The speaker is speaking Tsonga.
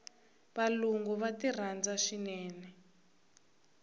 valungu va ti rhandza swinene